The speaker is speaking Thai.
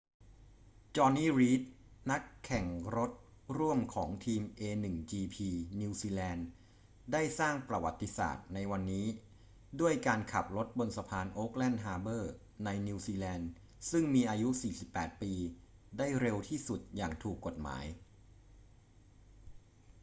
jonny reid นักแข่งรถร่วมของทีม a1gp นิวซีแลนด์ได้สร้างประวัติศาสตร์ในวันนี้ด้วยการขับรถบนสะพานโอ๊คแลนด์ฮาร์เบอร์ในนิวซีแลนด์ซึ่งมีอายุ 48 ปีได้เร็วที่สุดอย่างถูกกฎหมาย